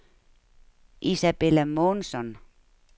Isabella Månsson